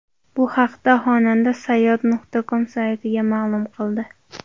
Bu haqda xonanda Sayyod.com saytiga ma’lum qildi .